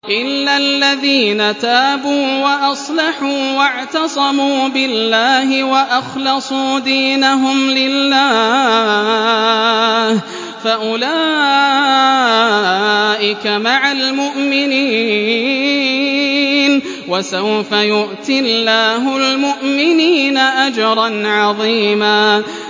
إِلَّا الَّذِينَ تَابُوا وَأَصْلَحُوا وَاعْتَصَمُوا بِاللَّهِ وَأَخْلَصُوا دِينَهُمْ لِلَّهِ فَأُولَٰئِكَ مَعَ الْمُؤْمِنِينَ ۖ وَسَوْفَ يُؤْتِ اللَّهُ الْمُؤْمِنِينَ أَجْرًا عَظِيمًا